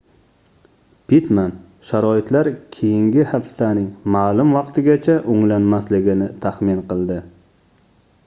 pittman sharoitlar keyingi haftaning maʼlum vaqtigacha oʻnglanmasligini taxmin qildi